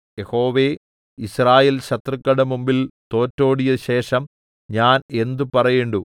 യഹോവേ യിസ്രായേൽ ശത്രുക്കളുടെ മുമ്പിൽ തോറ്റോടിയശേഷം ഞാൻ എന്ത് പറയേണ്ടു